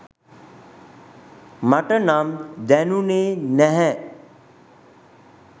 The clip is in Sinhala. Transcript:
මට නම් දැනුනේ නැහැ.